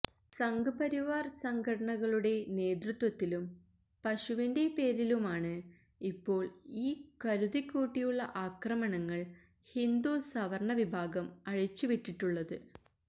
സംഘ്പരിവാര് സംഘടനകളുടെ നേതൃത്വത്തിലും പശുവിന്റെ പേരിലുമാണ് ഇപ്പോള് ഈ കരുതിക്കൂട്ടിയുള്ള ആക്രമണങ്ങള് ഹിന്ദു സവര്ണ വിഭാഗം അഴിച്ചുവിട്ടിട്ടുള്ളത്